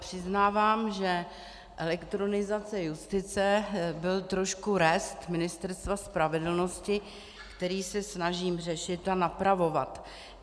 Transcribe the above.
Přiznávám, že elektronizace justice byl trošku rest Ministerstva spravedlnosti, který se snažím řešit a napravovat.